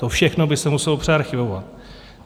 To všechno by se muselo přearchivovat.